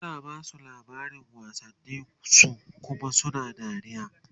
tana Basu labarin wasanni su Kuma suna dariya